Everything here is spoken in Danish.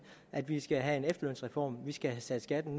at vi skal have en efterlønsreform vi skal have sat skatten